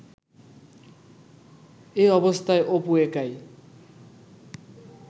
এ অবস্থায় অপু একাই